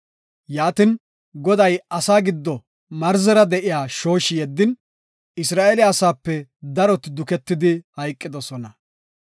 Yaatin, Goday asaa giddo marzera de7iya shooshi yeddin, Isra7eele asaape daroti duketidi hayqidosona.